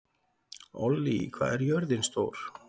Ollý, hvað er jörðin stór?